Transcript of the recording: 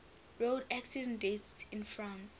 road accident deaths in france